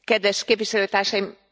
Kedves Képviselőtársaim!